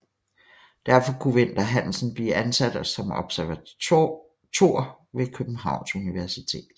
Derfor kunne Vinter Hansen blive ansat som Observator ved Københavns Universitet